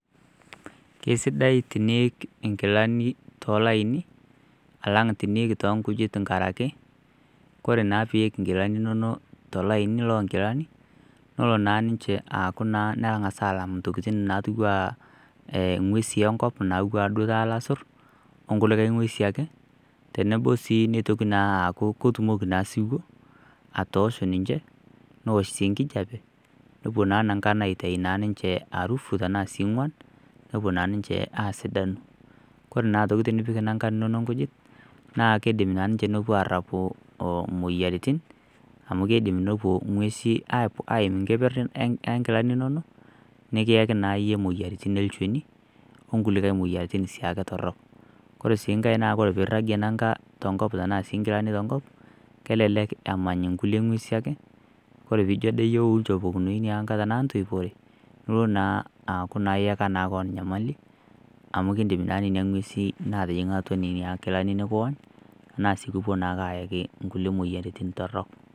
Kesidai teniik nkilani tolaini alang teniik toonkijita ngaraki kore naa piik nkilani inono tolaini loo nkilani nelo naa ninche aaku naa nengas aalang ntokitin natiuaa inguesi enkop, natiwuaa duo taata ilasurr, onkule inguesi ake tenebo sii neitoki naa aaku ketumoki naa siwuo atoosho ninche, neosh sii nkijape, nepuo naa nankan aitai naa ninche arufu tanaa sii inguan, nepo naa ninche aasidanu. Kore naa aitoki tenipik nankan inono nkujit naa keidim naa ninche nepo aarapu imoyiaritin amu keidim nepo inguesi aim nkeper enkilani inono, nikiyaki naa iyie imoyiaritin elchoni olkulikae moyiaritin siake torrok. Kore sii nkae naa kore piiragie nanka tonkop tanaa sii nkilani tonkop, kelelek emany nkulie inguesi ake, ore piijo ade iyie wou nchopokunoi inia anka tanaa ntoipore, nilo naa aaku iyeka naa koon inyamali, amu kiindim naa nenia nguesi naating'a atua nena nkilani nikiwony, tanaa sii kupo naake aayaki kulie moyiaritin torrok.